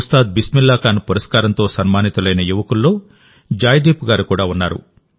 ఉస్తాద్ బిస్మిల్లా ఖాన్ పురస్కారంతో సన్మానితులైన యువకుల్లో జాయ్దీప్ గారు కూడా ఉన్నారు